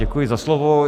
Děkuji za slovo.